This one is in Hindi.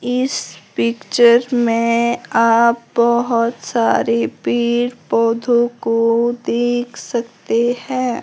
इस पिक्चर में आप बहोत सारे पेड़ पौधों को देख सकते हैं।